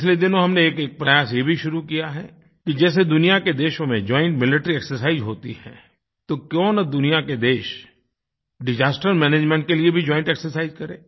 पिछले दिनों हमने एक प्रयास ये भी शुरू किया है कि जैसे दुनिया के देशों में जॉइंट मिलिटरी एक्सरसाइज होती है तो क्यों न दुनिया के देश डिसास्टर मैनेजमेंट के लिए भी जॉइंट एक्सरसाइज करें